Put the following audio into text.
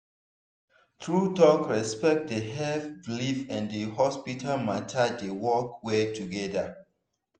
true talk respect dey help belief and hospital matter dey work well together.